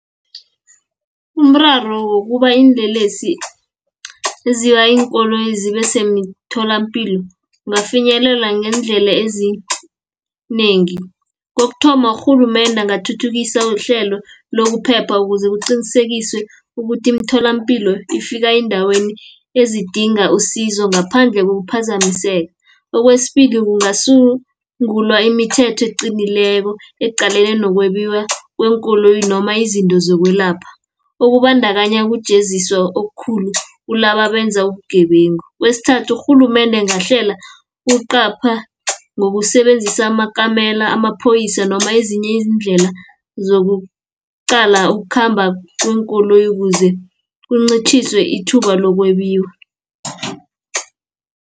Umraro wokuba iinlelesi eziba iinkoloyi zibe semtholapilo kungafinyelela ngeendlela ezinengi. Kokuthoma urhulumende angathuthukisa ihlelo lokuphepha, ukuze kuqinisekiswe ukuthi iimtholampilo ifika eendaweni ezidinga usizo ngaphandle kokuphazamiseka. Okwesibili kungasungulwa imithetho eqinileko, eqalene nokwebiwa kweenkoloyi noma izinto zokwelapha, ukubandakanya ukujeziswa okukhulu kulaba abenza ubugebengu. Kwesithathu urhulumende angahlela ukuqapha, ngokusebenzisa amakamela amaphoyisa, noma ezinye izindlela zokuqala ukukhamba kweenkoloyi, kuze kuncitjhiswe ithuba lokwebiwa.